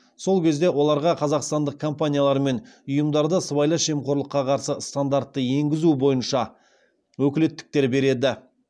сол кезде оларға қазақстандық компаниялар мен ұйымдарда сыбайлас жемқорлыққа қарсы стандартты енгізу бойынша өкілеттіктер береді